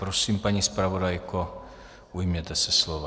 Prosím, paní zpravodajko, ujměte se slova.